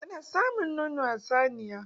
Ana samun nono a saniya.